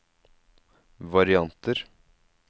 varianter